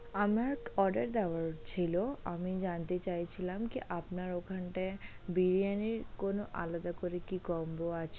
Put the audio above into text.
আমার order দেওয়ার ছিল, আমি জানতে চাইছিলাম আপনার ওখান টাই বিরিয়ানি কোনো আলাদা করে কি combo আছে।